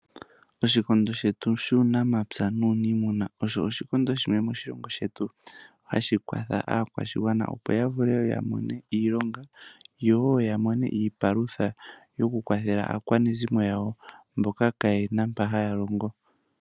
Oshikondo shetu shuunamapya nuunimuna osho oshikondo shimwe shono hashi kwatha aakwashigwana opo ya vule ya mone iilonga yo woo ya mone iipalutha yokukwathela aakwashigwana yawo mboka kayena mpoka haya longo.